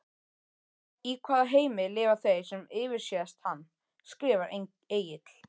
Í hvaða heimi lifa þeir sem yfirsést hann? skrifar Egill.